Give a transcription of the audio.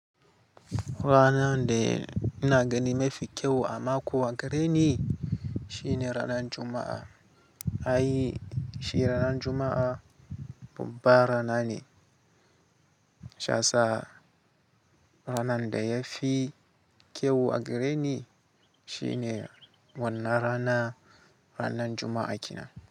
Rana da ina gani mafi kyau a mako a gare ni shine ranan Juma'a. Ai shi ran Juma'a babbar rana ne. Sa ranan da ya fi kyau a gare ni shine wannan rana, ranar juma'a kenan.